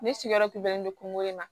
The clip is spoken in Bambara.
Ne sigiyɔrɔ tun bɛ ne don kungo in na